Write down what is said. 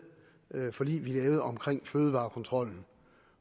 forlig vi lavede om fødevarekontrollen